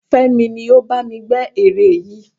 Fémi ni ó bá mi gbẹ́ ère yìí